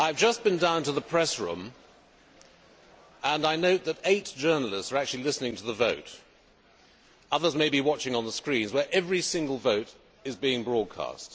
I have just been down to the press room and I note that eight journalists are actually listening to the vote others may be watching on the screens, where every single vote is being broadcast.